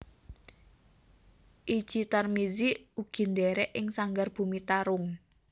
Itji Tarmizi ugi ndhèrèk ing Sanggar Bumi Tarung